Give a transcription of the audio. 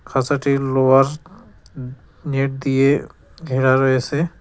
খাচাটি লোহার নেট দিয়ে ঘেরা রয়েছে।